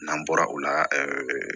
N'an bɔra o la